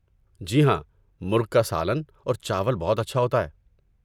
جی ہاں، مرغ کا سالن اور چاول بہت اچھا ہوتا ہے۔